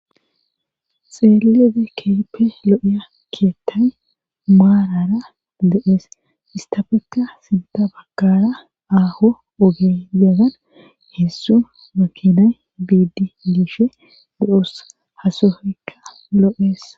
xeelliyoode keehippe lo7iya keettay maarara de7ees istafekka sintta baggaara aaho oge yaran heezzu makinay biidde dishe be7oos ha sohoykka loo7es.